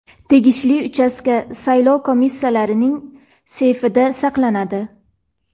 tegishli uchastka saylov komissiyalarining seyfida saqlanadi.